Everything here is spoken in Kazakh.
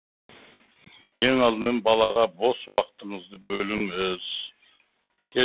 ең алдымен балаға бос уақытыңызды бөліңіз